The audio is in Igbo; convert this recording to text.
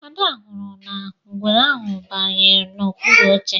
Ada hụrụ na ngwere ahụ bayere na okpuru oche